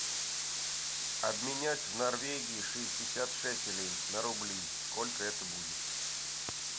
обменять в норвегии шестьдесят шекелей на рубли сколько это будет